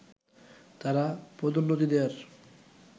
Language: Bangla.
তারা পদোন্নতি দেয়ার